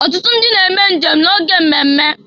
Ọtụtụ ndị na eme njem na-oge mmemme.